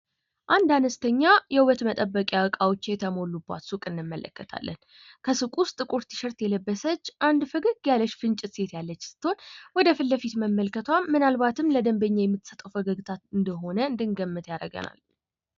አንድ አነስተኛ የውበት መጠበቂያ እቃዎች የተሞሉባት ሱቅ እንመለከታለን ፤ ከወደ ሱቁ ዉስጥ ጥቁር ቲሸር የለበሰች አንድ ፈገግ ያለች ፍንጭት ሴት ምናልባትም ለደንበኛ የምትሰጠዉ ፈገግታ እንደሆነ እንድንገምት ያደርገናል።